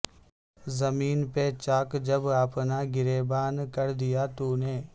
زمیں پہ چاک جب اپنا گریباں کر دیا تو نے